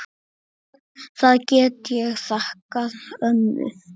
Það get ég þakkað ömmu.